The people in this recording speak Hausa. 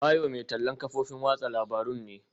Bayo mai tallan kafofin watsa labarun ne.